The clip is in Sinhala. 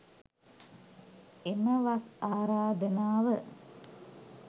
එම වස් ආරාධනාව